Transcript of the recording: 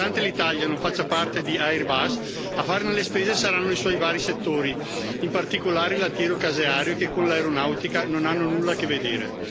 Nonostante l'Italia non faccia parte di Airbus, a farne le spese saranno i suoi vari settori, in particolare il lattiero caseario, che con l'aeronautica non hanno nulla a che vedere.